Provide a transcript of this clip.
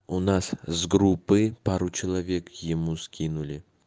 у нас с группы пару человек ему скинули